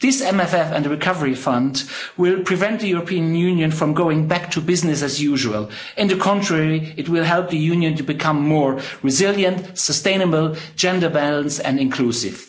This MFF and recovery fund will prevent the European Union from going back to business as usual on the contrary, it will help the Union to become more resilient, sustainable, gender balanced and inclusive.